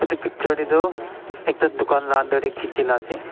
eto picture teh toh ekta tukan laga under teh kechia laga ase.